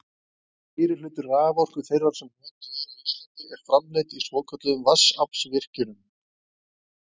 Meirihluti raforku þeirrar sem notuð er á Íslandi er framleidd í svokölluðum vatnsaflsvirkjunum.